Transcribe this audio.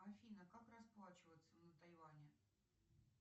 афина как расплачиваться на тайвани